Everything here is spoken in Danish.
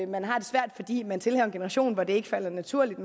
man har det svært fordi man tilhører en generation hvor det ikke falder naturligt